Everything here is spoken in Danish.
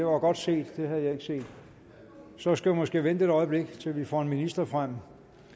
var godt set det havde jeg ikke set så skal vi måske vente et øjeblik til vi får en minister frem